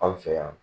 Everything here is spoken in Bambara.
Anw fɛ yan